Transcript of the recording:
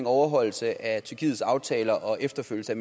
overholdelse af tyrkiets aftaler og efterfølgelse af